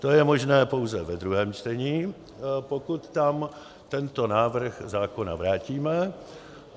To je možné pouze ve druhém čtení, pokud tam tento návrh zákona vrátíme.